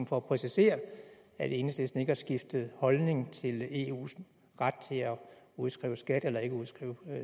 for at præcisere at enhedslisten ikke har skiftet holdning til eus ret til at udskrive skat eller ikke udskrive